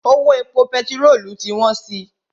Owó epo pẹtirolu ti wọ́n si.